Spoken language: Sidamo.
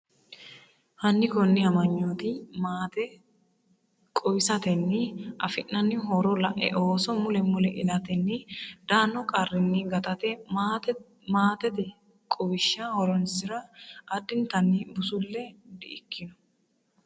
Hanni konninni aanchitine maate quwisatenni afi’nanni horore la’e Ooso mule mule ilatenni daanno qarrinni gatate maatete quwishsha horonsi’ra addintanni busulle di'ikino?